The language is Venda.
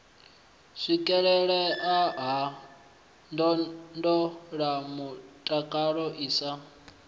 swikelelea ha ndondolamutakalo i sa